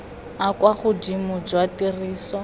a kwa godimo jwa tiriso